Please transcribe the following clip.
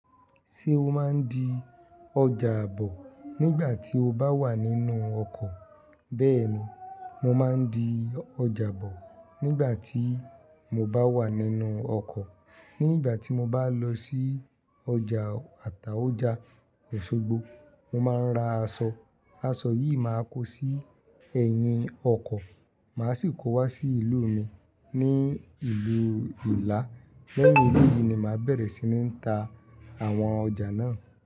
Ṣé o máa ń di ọjà àbọ̀ nígbà tí o bá wà nínú ọkọ̀? Bẹ́ẹ̀ni, mo máa ń di ọjà àbọ̀ nígbà tí mo bá wà nínú ọkọ̀. Ní igbà tí mo bá lọ sí ọjà Àtàója, Osogbo, mo máa ń ra aṣọ. Aṣọ yìí máa kó sí ẹ̀yìn ọkọ̀, màá sì kó wá sí ìlú mi ní ìlú Ìlá. Lẹ́yìn èleyìí ni màá bẹ̀rẹ̀ sí ní ta àwọn ọjà náà.